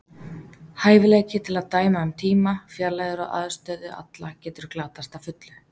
Hæfileiki til að dæma um tíma, fjarlægðir og aðstöðu alla getur glatast að fullu.